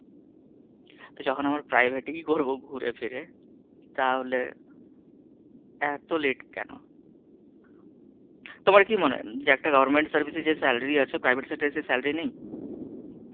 তো যখন আমরা private এই করব ঘুরে ফিরে তাহলে এত late কেন? তোমার কি মনে হয় যে একটা government sector এ যেই salary আছে, একটা private sector এ সেই salary নেই?